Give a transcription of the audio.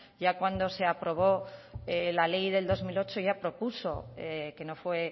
ya cuando se aprobó la ley del dos mil ocho ya propuso que no fue